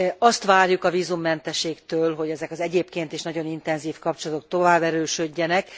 Azt várjuk a vízummentességtől, hogy ezek az egyébként is nagyon intenzív kapcsolatok tovább erősödjenek.